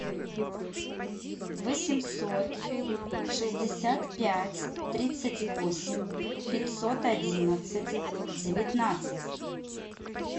восемьсот шестьдесят пять тридцать восемь пятьсот одиннадцать девятнадцать